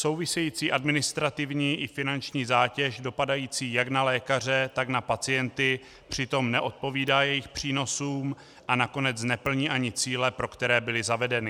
Související administrativní i finanční zátěž dopadající jak na lékaře, tak na pacienty přitom neodpovídá jejich přínosům a nakonec neplní ani cíle, pro které byly zavedeny.